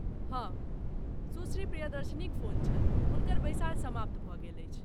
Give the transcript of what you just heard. हँ , सुश्री प्रियदर्शिनीक फोन छल, हुनकर बैसार समाप्त भऽ गेल अछि।